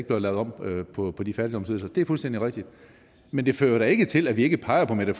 bliver lavet om på på de fattigdomsydelser det er fuldstændig rigtigt men det fører da ikke til at vi ikke peger på mette